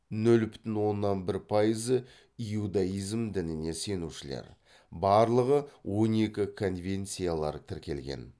нөл бүтін оннан бір пайызы иудаизм дінін сенушілер барлығы он екі конфессиялары тіркелген